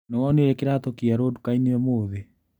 Nĩwonire kĩratũ kĩerũ dukainĩ ũmũthĩ?